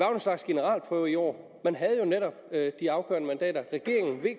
en slags generalprøve i år man havde jo netop de afgørende mandater regeringen v